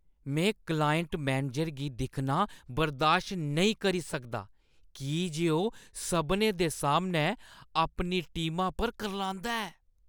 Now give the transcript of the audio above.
में client manager गी दिक्खना बर्दाश्त नेईं करी सकदा की जे ओह् सभनें दे सामनै अपनी टीमा पर करलांदा ऐ ।